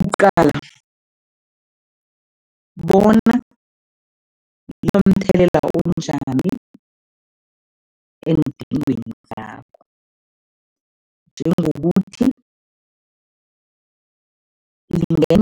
Uqala bona linomthelela onjani eendingweni zakho, njengokuthi